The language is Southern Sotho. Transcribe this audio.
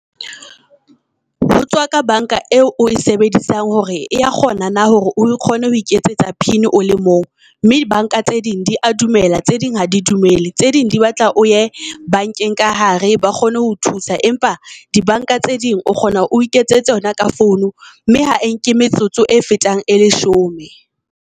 Ho tswa ka bankga eo o e sebedisang hore ea kgona na hore o kgone ho iketsetsa pin o le mong. Mme bank-a tse ding di a dumela, tse ding ha di dumele tseding di batla o ye bank-eng ka hare ba kgone ho o thusa. Empa di bank-a tse ding o kgona oi ketsetse yona ka founu mme ha e nke metsotso e fetang e leshome.